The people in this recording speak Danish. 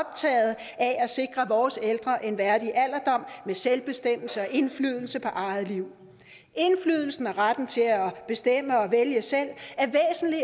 er at sikre vores ældre en værdig alderdom med selvbestemmelse og indflydelse på eget liv indflydelsen og retten til at bestemme og vælge selv